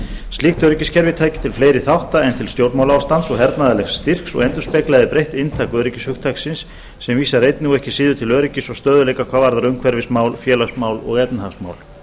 slíkt öryggiskerfi tæki til fleiri þátta en til stjórnmálaástands og hernaðarlegs styrks og endurspeglaði breytt inntak öryggishugtaksins sem vísar einnig og ekki síður til öryggis og stöðugleika hvað varðar umhverfismál félagsmál og efnahagsmál